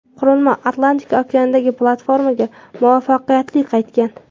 Qurilma Atlantika okeanidagi platformaga muvaffaqiyatli qaytgan.